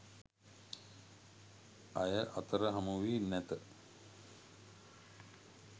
අය අතර හමු වී නැත.